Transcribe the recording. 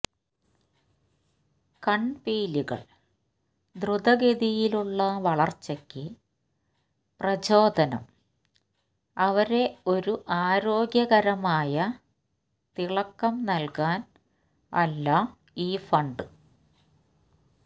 കണ്പീലികൾ ദ്രുതഗതിയിലുള്ള വളർച്ചയ്ക്ക് പ്രചോദനം അവരെ ഒരു ആരോഗ്യകരമായ തിളക്കം നൽകാൻ എല്ലാ ഈ ഫണ്ട്